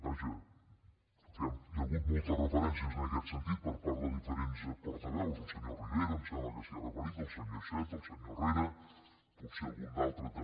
vaja hi ha hagut moltes referències en aquest sentit per part de diferents portaveus el senyor rivera em sembla que s’hi ha referit el senyor iceta el senyor herrera potser algun d’altre també